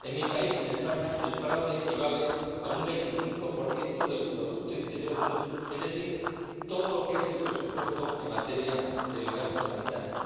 En mi país, España, el fraude equivale a una 25 del producto interior bruto, es decir, todo lo que es el presupuesto en materia de gasto sanitario.